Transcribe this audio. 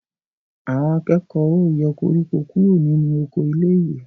Àwọn akẹ́kọ̀ọ́ ó yọ koríko kúrò nínú oko iléèwé